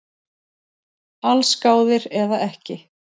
Allsgáðir eða ekki